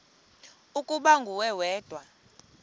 ukuba nguwe wedwa